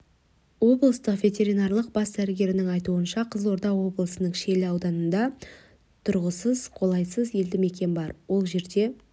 облыстық ветеринарлық бас дәрігерінің айтуынша қызылорда облысының шиелі ауданында тұрғысынан қолайсыз елді мекен бар ол жерде